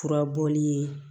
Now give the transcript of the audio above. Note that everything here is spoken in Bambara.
Furabɔli ye